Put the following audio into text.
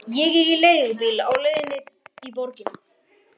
Sigurjón, hvernig kemst ég þangað?